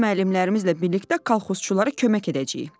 Bu gün müəllimlərimizlə birlikdə kolxozçulara kömək edəcəyik."